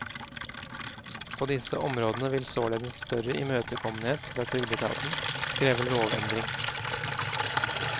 På disse områdene vil således større imøtekommenhet fra trygdeetaten kreve lovendring.